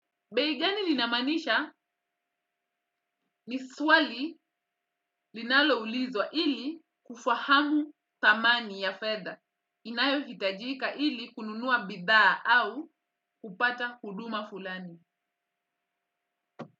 Bei gani linamaanisha ni swali linaloulizwa ili kufahamu thamani ya fedha inayo hitajika ili kununua bidhaa au kupata huduma fulani.